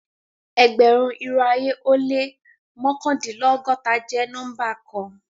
Ẹgbẹ̀run, irò ayé o lẹ́ mọkandinlọgọ́ta jẹ́ nọ́mbà kàn.